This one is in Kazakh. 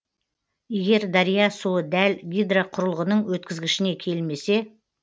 егер дария суы дәл гидроқұрылғының өткізгішіне келмесе